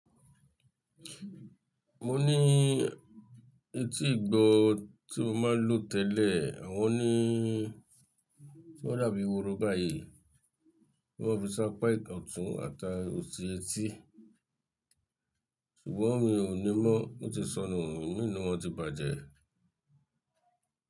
Mo ní etí ìgbọ́ tí mo máa ń lo tẹ́lẹ̀, àwọn ni tí wọ́n dàbí woro báyìí, bí wọ́n fi sápá ìkọ̀tún àtà ò sí etí. Ṣùgbọ́n mi ò ní mọ́, o ti sọnù, imi na wọ́n ti bàjẹ́.